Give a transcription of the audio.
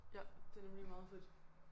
Ja det nemlig meget fedt